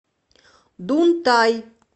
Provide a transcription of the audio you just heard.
дунтай